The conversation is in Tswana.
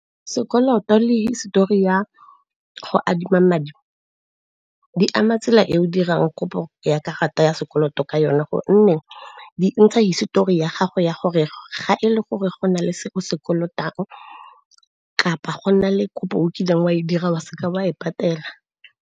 Sekoloto le hisetori ya go adima madi di ama tsela e o dirang kopo ya karata ya sekoloto ka yone. Gonne di ntsha hisetori ya gago ya gore ga e le gore go na le se se kolotang, kapa go nna le kopo o kileng wa e dira wa seka wa e patela.